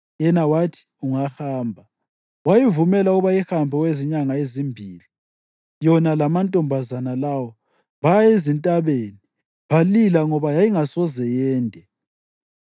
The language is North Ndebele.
Yena wathi, “Ungahamba.” Wayivumela ukuba ihambe okwezinyanga ezimbili. Yona lamantombazana lawo baya ezintabeni balila ngoba yayingasoze yende.